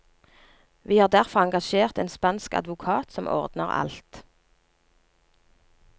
Vi har derfor engasjert en spansk advokat som ordner alt.